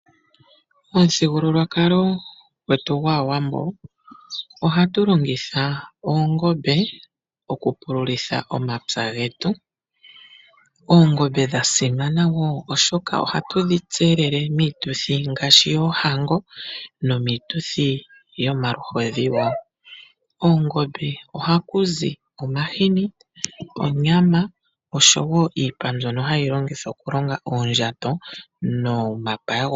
Momuthigululwakalo gwetu gwAawambo ohatu longitha oongombe mokupululitha omapya getu. Oongombe odha simana oshoka ohatu dhi tselele miituthi ngaashi yoohango nomiituthi yomaluhodhi wo. Koongombe ohaku zi omahini, onyama oshowo iipa mbyono hayi longithwa okulonga oondjato nomapaya gomoombunda.